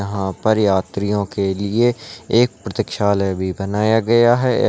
यहा पर यात्रियों के लिए एक प्रतीक्षालय भी बनाया गया है।